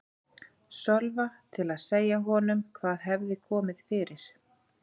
Sölva til að segja honum hvað hefði komið fyrir.